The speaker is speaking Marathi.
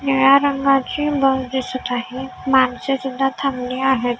निळ्या रंगाची बस दिसत आहे माणसेसुद्धा थांबली आहेत.